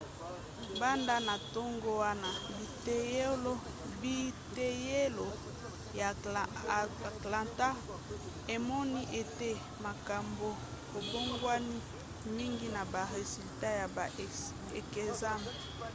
banda na ntango wana biteyelo ya atlanta emoni ete makambo ebongwani mingi na ba resulat ya ba ekzame